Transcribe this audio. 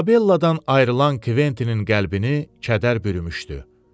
İzabelladan ayrılan Kventinin qəlbini kədər bürümüşdü.